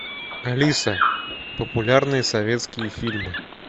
алиса популярные советские фильмы